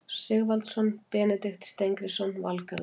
Sigvaldason, Benedikt Steingrímsson, Valgarður